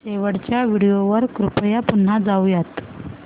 शेवटच्या व्हिडिओ वर कृपया पुन्हा जाऊयात